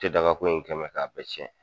Te dagakoi in kɛn mɛ k'a bɛɛ cɛn.